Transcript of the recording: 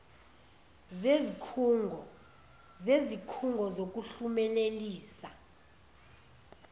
zezik hungo zokuhlumelelisa